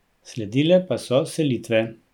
Sledile pa so selitve.